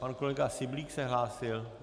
Pan kolega Syblík se hlásil?